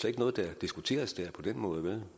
ikke noget der diskuteres der på den måde